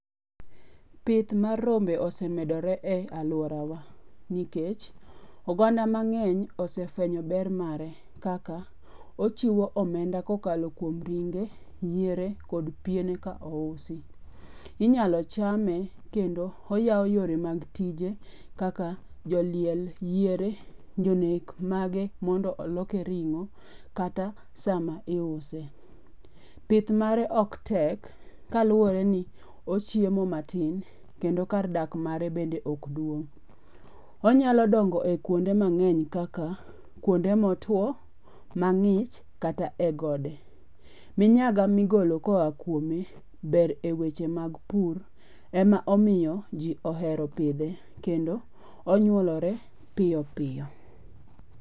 Pith mar rombe osemedore e aluora wa nikech oganda mang'eny osefwenyo ber kaka: ochiwo omenda kokalo kuom ringe, yiere, kod piene ka ousi. Inyalo chame kendo oyawo yore mag tije kaka joliel yiere, jonek mage mondo oloke ring'o kata sama iuse. Pith mare ok tek kaluwore ni ochiemo matin kendo kar dak mare bende ok duong'. Onyalo dongo e kuonde mang'eny kaka kuonde motuo, mang'ich, kata e gode. Minyaga migolo koa kuome ber e weche mag pur ema omiyo ji ohero pidhe kendo onyuolore piyo piyo.